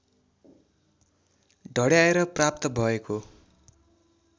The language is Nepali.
ढड्याएर प्राप्त भएको